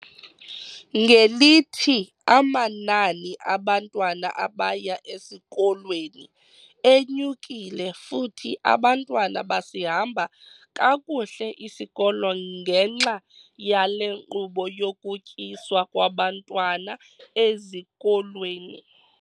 Ngelithi, amanani abantwana abaya esikolweni enyukile futhi abantwana basihamba kakuhle isikolo ngenxa yale nkqubo yokutyiswa kwabantwana ezikolweni.